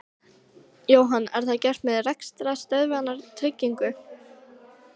Jóhann: Er það gert með rekstrarstöðvunartryggingu?